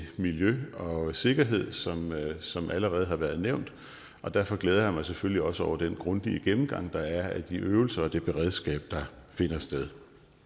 miljø og sikkerhed som som det allerede har været nævnt og derfor glæder jeg mig selvfølgelig også over den grundige gennemgang der er af de øvelser og det beredskab der finder sted